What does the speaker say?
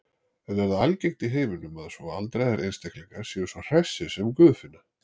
En er það algengt í heiminum að svo aldraðir einstaklingar séu svo hressir sem Guðfinna?